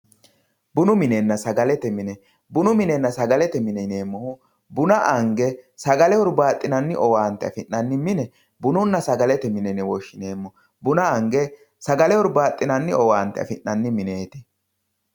bunu minenna sagalete mine buna ange sagale hurbaaxinanni owante afi'nanni mine bununna saglete mine yine woshshineemmo buna ange sagale hurbaa'xinanni afi'nanni mineeti